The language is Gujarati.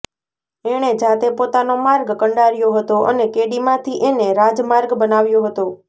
એણે જાતે પોતાનો માર્ગ કંડાર્યો હતો અને કેડીમાંથી એને રાજમાર્ગ બનાવ્યો હતો